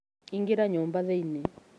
Ingĩra nyũmba thĩinĩ